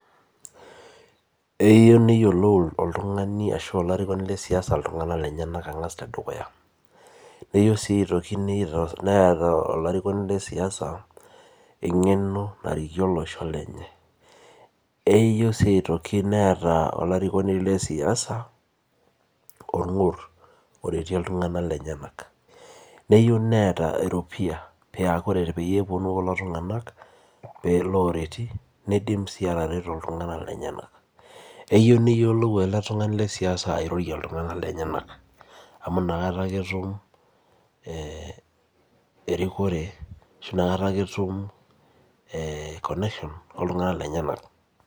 Eyieu neyiolou oltungani ashu olarikoni lesiasa ltunganak lenyenak tedukuya neyieu sii neeta olarikoni le siasa engeno narikie olosho lenye eyieu si neeta olarikoni le siasa orngur orietie ltunganak lenye, neyieu neeta eropiya ore peyie eponu lolotunganak nidim si atareto ltunganak lenyenak keyieu neyiolou ele tungani le siaisa airorie ltunganak lenyenak amu inakata nake itimu erikore ashu nakata ake etum connection oltunganak lenyenak.